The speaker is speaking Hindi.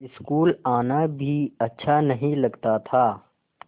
स्कूल आना भी अच्छा नहीं लगता था